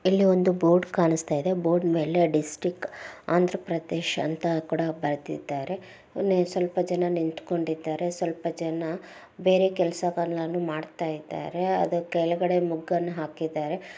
ಇಲ್ಲಿ ಒಂದು ಬೋರ್ಡ್ ಕಾಣಿಸ್ತಾಯಿದೆ ಬೋರ್ಡ್ ಮೇಲೆ ಡಿಸ್ಟ್ರಿಕ್ಟ್ ಆಂಧ್ರ ಪ್ರದೇಶ್ ಅಂತ ಕೂಡ ಬರ್ದಿದ್ದಾರೆ. ಒನ್ ಸ್ವಲ್ಪ ಜನ ನಿಂತ್ಕೊಂಡಿದ್ದಾರೆ ಸ್ವಲ್ಪ ಜನ ಬೇರೆ ಕೆಲ್ಸಗಳನ್ನು ಮಾಡ್ತಾಯಿದ್ದಾರೆ ಅದ್ರ ಕೆಲ್ಗಡೆ ಮುಗ್ಗನ್ ಹಾಕಿದ್ದಾರೆ.